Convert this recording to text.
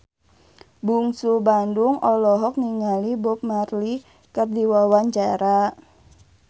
Bungsu Bandung olohok ningali Bob Marley keur diwawancara